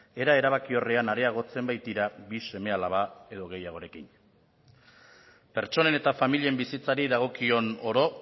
era erabakiorrean areagotzen baitira bi seme alaba edo gehiagorekin pertsonen eta familien bizitzari dagokion oro